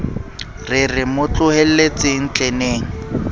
re re mo tlohelletseng tleneng